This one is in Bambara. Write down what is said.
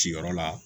Ciyɔrɔ la